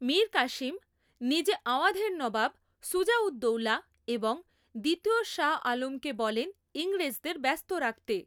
মীর কাসিম নিজে আওয়াধের নবাব সুজা উদ দৌলা এবং দ্বিতীয় শাহ আলমকে বলেন ইংরেজদের ব্যস্ত রাখতে।